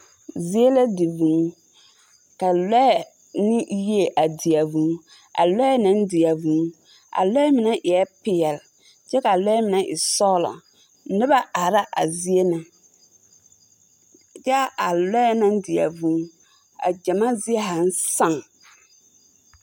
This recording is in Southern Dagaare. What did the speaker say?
Zie la di vūū, ka lɔɛ ne yie di a vūū. A lɔɛ naŋ di a vūū, a lɔɛ mine eɛ peɛl, kyɛ ka a lɔɛ mine e zɔglɔ. Noba are na a zie na, kyɛ a lɔɛ naŋ di a vūū a gyamaa zie zaaŋ sᾱᾱ.